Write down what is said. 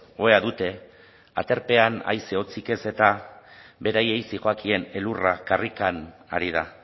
ohea dute aterbean haize otzik ez eta bereri zijoakien elurra karrikan ari da